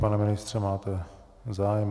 Pane ministře, máte zájem?